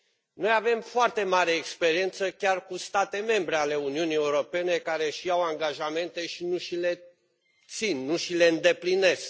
Noi avem o foarte mare experiență chiar cu state membre ale Uniunii Europene care își iau angajamente și nu și le îndeplinesc.